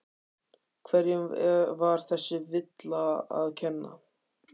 Hverjum var þessi villa að kenna?